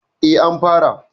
E, an fara.